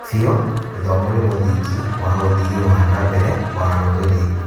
Biũ, gĩthomo nĩ mũthingi wa ũthii wa na mbere wa rũrĩrĩ.